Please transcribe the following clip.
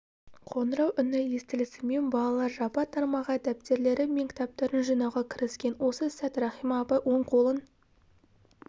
қоңырау үні естілісімен балалар жапа-тармағай дәптерлері мен кітаптарын жинауға кіріскен осы сәт рахима апай оң қолын